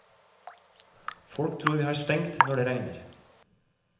Folk tror vi har stengt når det regner.